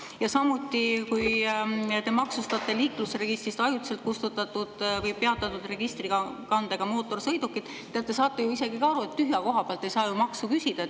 Ja samuti, kui te maksustate liiklusregistrist ajutiselt kustutatud või peatatud registrikandega mootorsõidukid – te saate ju ise ka aru, et tühja koha pealt ei saa maksu küsida.